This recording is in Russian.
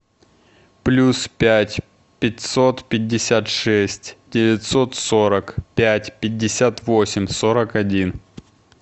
плюс пять пятьсот пятьдесят шесть девятьсот сорок пять пятьдесят восемь сорок один